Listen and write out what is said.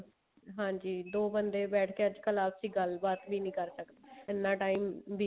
ਹਾਂਜੀ ਦੋ ਬੰਦੇ ਬੈਠ ਕੇ ਅੱਜਕਲ ਆਪਸ ਵਿੱਚ ਗੱਲਬਾਤ ਵੀ ਨੀ ਕਰਦੇ ਇੰਨਾ time